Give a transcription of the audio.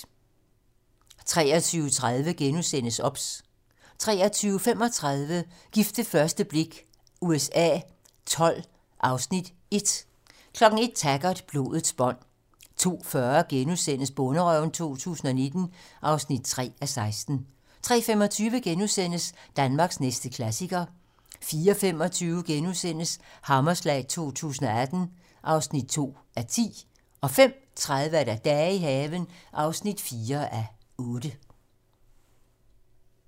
23:30: OBS * 23:35: Gift ved første blik USA XII (Afs. 1) 01:00: Taggart: Blodets bånd 02:40: Bonderøven 2019 (3:16)* 03:25: Danmarks næste klassiker * 04:25: Hammerslag 2018 (2:10)* 05:30: Dage i haven (4:8)